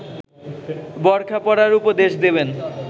বোরখা পরার উপদেশ দেবেন